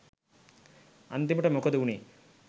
අන්තිමට මොකද උනේ